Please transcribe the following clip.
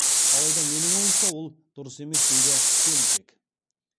алайда менің ойымша ол дұрыс емес дейді келіншек